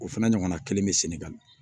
O fana ɲɔgɔnna kelen bɛ senegal